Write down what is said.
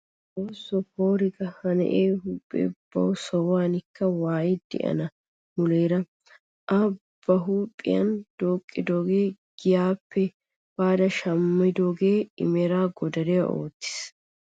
Xoosso poora ga! ha na'ee huuphphee bawu sohuwaanikka waayi daana muleera a ba huuphphiyaan dooqqidoogee giyaappe baada shammidoogee i meraa godare oottiis!